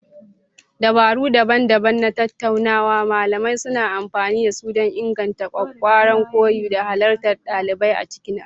Dabaru daban-daban na tattaunawa malamai suna amfani da su don inganta ƙwaƙƙwaran koyo da halartar ɗalibai a cikin aji.